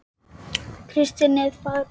Kristín er farin